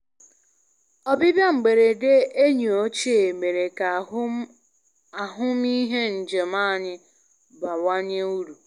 Ọbịbịa mberede enyi ochie mere ka ahụmịhe njem anyị bawanye uru.